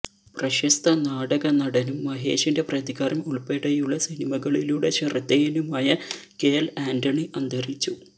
പ്രശസ്ത നാടകനടനും മഹേഷിന്റെ പ്രതികാരം ഉള്പ്പെടെയുളള സിനിമകളിലൂടെ ശ്രദ്ധേയനുമായ കെഎല് ആന്റണി അന്തരിച്ചു